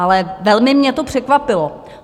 Ale velmi mě to překvapilo.